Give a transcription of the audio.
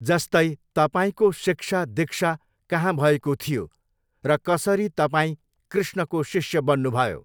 जस्तै तपाईँको शिक्षा दिक्षा कहाँ भएकाे थियाे र कसरी तपाईँ कृष्णकाे शिष्य बन्नुभयाे।